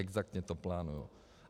Exaktně to plánují.